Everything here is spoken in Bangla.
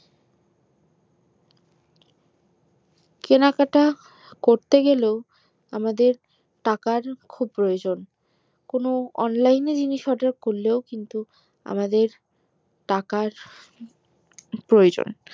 কেনাকাটা করতে গেলেও টাকার খুব প্রয়োজন কোনো online কিন্তু আমাদের টাকার প্রয়োজন